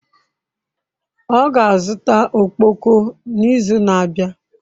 Ọ ga-azụta ọkpọkọ n'izu na-abịa.